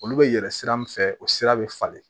Olu bɛ yɛlɛn sira min fɛ o sira bɛ falen